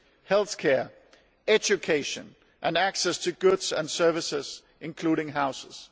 healthcare, education and access to goods and services, including houses.